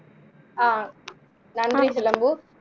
ஆஹ் நன்றி சிலம்பு